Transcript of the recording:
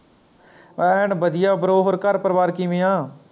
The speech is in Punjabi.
end ਵਧੀਆ bro ਹੋਰ ਘਰ ਪਰਿਵਾਰ ਕਿਵੇਂ ਆ